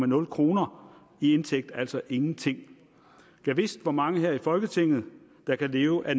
nul kroner i indtægt altså ingenting gad vidst hvor mange her i folketinget der kan leve af